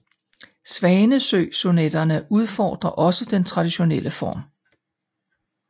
Svanesøsonetterne udfordrer også den traditionelle form